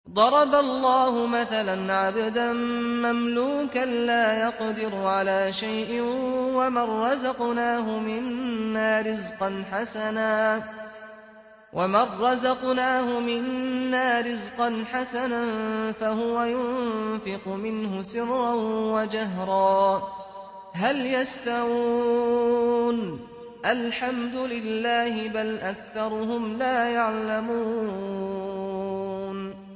۞ ضَرَبَ اللَّهُ مَثَلًا عَبْدًا مَّمْلُوكًا لَّا يَقْدِرُ عَلَىٰ شَيْءٍ وَمَن رَّزَقْنَاهُ مِنَّا رِزْقًا حَسَنًا فَهُوَ يُنفِقُ مِنْهُ سِرًّا وَجَهْرًا ۖ هَلْ يَسْتَوُونَ ۚ الْحَمْدُ لِلَّهِ ۚ بَلْ أَكْثَرُهُمْ لَا يَعْلَمُونَ